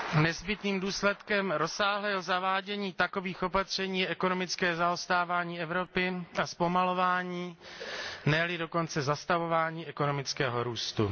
Nezbytným důsledkem rozsáhlého zavádění takových opatření je ekonomické zaostávání Evropy a zpomalování, ne li dokonce zastavování ekonomického růstu.